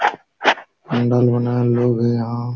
नल बनाये लोग है यहां।